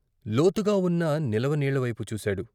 లోతుగా ఉన్న నిలవ నీళ్ళవైపు చూశాడు.